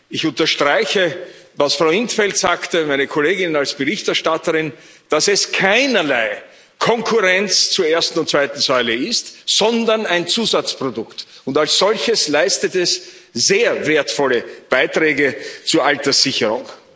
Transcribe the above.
Ich unterstreiche, was Frau in 't Veld meine Kollegin als Berichterstatterin sagte dass es keinerlei Konkurrenz zur ersten und zweiten Säule ist, sondern ein Zusatzprodukt, und als solches leistet es sehr wertvolle Beiträge zur Alterssicherung.